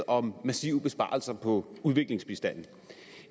om massive besparelser på udviklingsbistanden